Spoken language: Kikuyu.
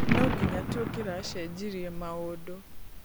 Nũnginya tũngeracenjirie maũndũ.